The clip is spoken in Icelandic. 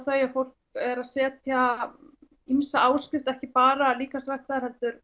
þau að fólk er að setja ýmsa áskrift ekki bara líkamsræktar heldur